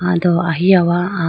aw do ahiya wa ah.